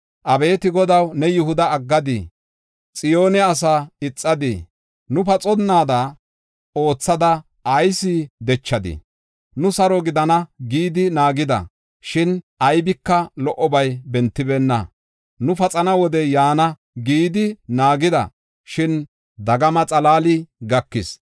Abeeti Godaw, ne Yihuda aggadii? Xiyoone asaa ixadii? Nu paxonnaada oothada ayis dechadii? Nu “Saro gidana” gidi naagida; shin aybika lo77obay bentibeenna. Nu “Paxana wodey yaana” gidi naagida; shin dagama xalaali gakis.